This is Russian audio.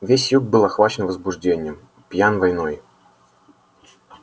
весь юг был охвачен возбуждением пьян войной